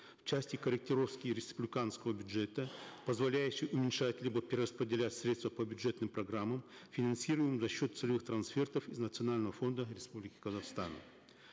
в части корректировки республиканского бюджета позволяющий уменьшать либо перераспределять средства по бюджетным программам финансируемым за счет целевых трансфертов из национального фонда республики казахстан